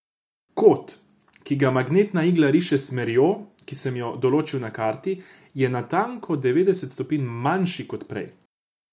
Kot, ki ga magnetna igla riše s smerjo, ki sem jo določil na karti, je natanko devetdeset stopinj manjši kot prej!